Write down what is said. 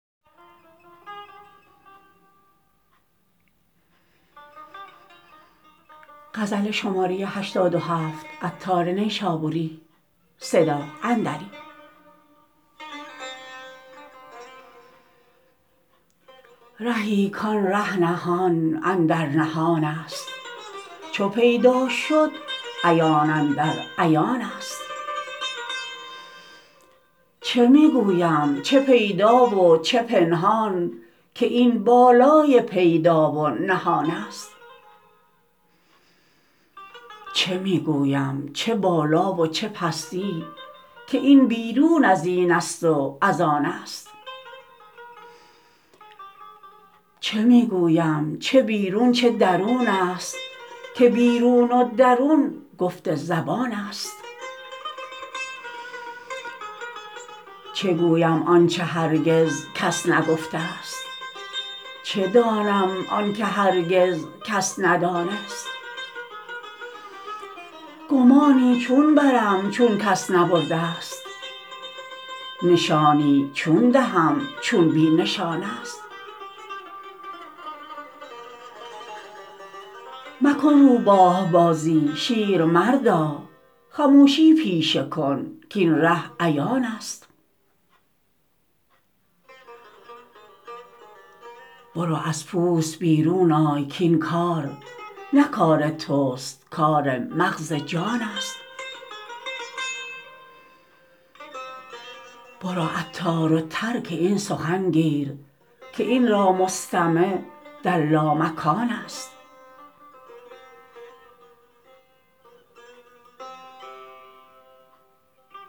رهی کان ره نهان اندر نهان است چو پیدا شد عیان اندر عیان است چه می گویم چه پیدا و چه پنهان که این بالای پیدا و نهان است چه می گویم چه بالا و چه پستی که این بیرون ازین است و از آن است چه می گویم چه بیرون چه درون است که بیرون و درون گفت زبان است چه گویم آنچه هرگز کس نگفته است چه دانم آنکه هرگز کس ندان است گمانی چون برم چون کس نبرده است نشانی چون دهم چون بی نشان است مکن روباه بازی شیر مردا خموشی پیشه کن کاین ره عیان است برو از پوست بیرون آی کاین کار نه کار توست کار مغز جان است برو عطار و ترک این سخن گیر که این را مستمع در لامکان است